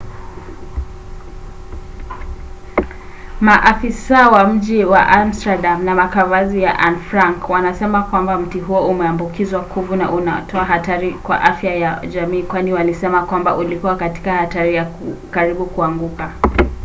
maafisa wa mji wa amsterdam na makavazi ya anne frank wanasema kwamba mti huo umeambukizwa kuvu na unatoa hatari kwa afya ya jamii kwani walisema kwamba ulikuwa katika hatari ya karibu ya kuanguka